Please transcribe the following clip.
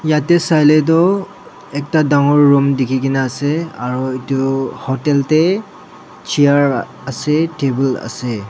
yate sai le toh ekta dangor room dikhi kena ase aru etu hotel te chair ase table ase.